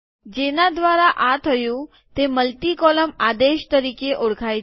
જેના દ્વારા આ થયું તે મલ્ટી કોલમ આદેશ તરીકે ઓળખાય છે